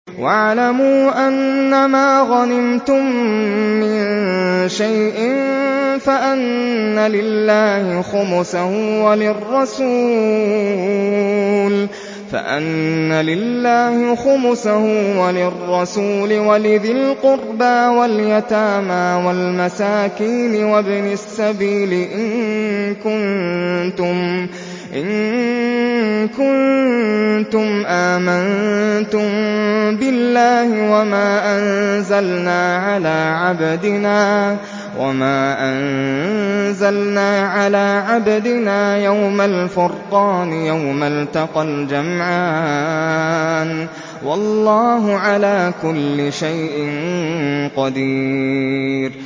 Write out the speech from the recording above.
۞ وَاعْلَمُوا أَنَّمَا غَنِمْتُم مِّن شَيْءٍ فَأَنَّ لِلَّهِ خُمُسَهُ وَلِلرَّسُولِ وَلِذِي الْقُرْبَىٰ وَالْيَتَامَىٰ وَالْمَسَاكِينِ وَابْنِ السَّبِيلِ إِن كُنتُمْ آمَنتُم بِاللَّهِ وَمَا أَنزَلْنَا عَلَىٰ عَبْدِنَا يَوْمَ الْفُرْقَانِ يَوْمَ الْتَقَى الْجَمْعَانِ ۗ وَاللَّهُ عَلَىٰ كُلِّ شَيْءٍ قَدِيرٌ